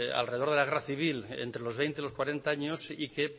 alrededor de la guerra civil entre los veinte y los cuarenta años y que